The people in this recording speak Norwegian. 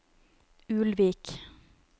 Ulvik